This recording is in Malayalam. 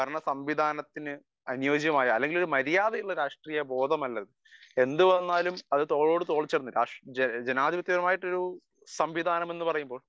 സ്പീക്കർ 1 സംവിധാനത്തിന് അനുയോജ്യമായ അല്ലെങ്കിൽ ഒരു മര്യാദയുള്ള രാഷ്ട്രീയ ബോധമല്ല അത് . എന്ത് വന്നാലും അത് തോളോട് തോൾ ചേർന്ന് ജനാധിപത്യം എന്ന് പറയുന്ന സംവിധാനം എന്ന് പറയുമ്പോൾ